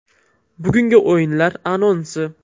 Bugungi o‘yinlar anonsi.